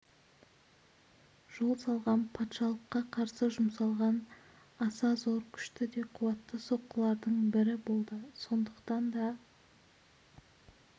жол салған патшалыққа қарсы жұмсалған аса зор күшті де қуатты соққылардың бірі болды сондықтан да